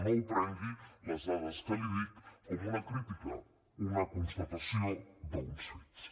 no les prengui les dades que li dic com una crítica són una constatació d’uns fets